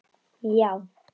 Já